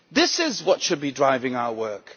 This is what should be driving our work.